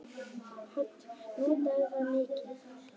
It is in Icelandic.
Hödd: Notarðu það mikið?